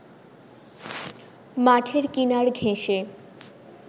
মাঠের কিনার ঘেঁসে